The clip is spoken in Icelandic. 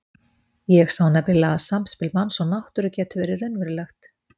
Ég sá nefnilega að samspil manns og náttúru getur verið raunverulegt.